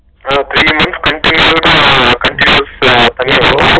three months continues சா continue பண்ணுவாங்க